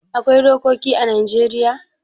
Akwai dokoki ã Najeriya